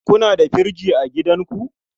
Kuna da firji a gidanku?